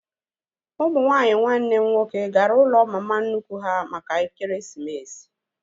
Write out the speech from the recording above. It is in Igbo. Ụmụ nwaanyị nwanne m nwoke gara ụlọ mma mama nnukwu ha maka ekeresimesi